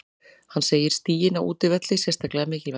Hann segir stigin á útivelli sérstaklega mikilvæg.